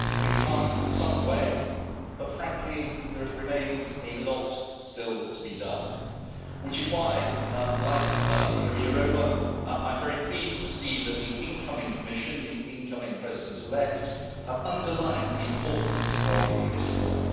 We've come some way, but frankly there remains a lot still to be done, which is why, like Věra Jourová, I'm very pleased to see that the incoming Commission, the incoming President elect, have underlined the importance of this work.